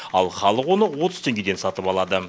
ал халық оны отыз теңгеден сатып алады